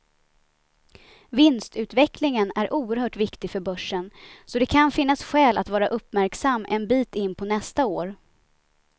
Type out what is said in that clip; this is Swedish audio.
Vinstutvecklingen är oerhört viktig för börsen, så det kan finnas skäl att vara uppmärksam en bit in på nästa år.